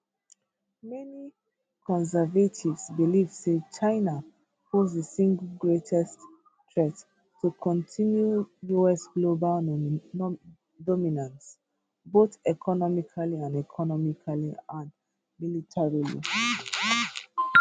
many conservatives believe say china pose di single greatest threat to continue us global dominance both economically and economically and militarily